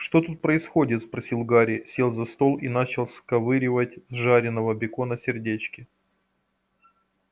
что тут происходит спросил гарри сел за стол и начал сковыривать с жареного бекона сердечки